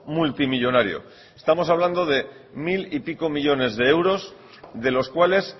multimillónario estamos hablando de mil y pico millónes de euros de los cuales